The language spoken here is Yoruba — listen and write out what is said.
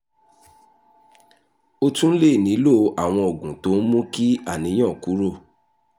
o tún lè nílò àwọn oògùn tó ń mú kí àníyàn kúrò